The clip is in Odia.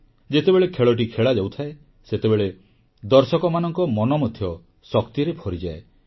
ଯେତେବେଳେ ଖେଳଟି ଖେଳାଯାଉଥାଏ ସେତେବେଳେ ଦର୍ଶକମାନଙ୍କ ମନ ମଧ୍ୟ ଶକ୍ତିରେ ଭରିଯାଏ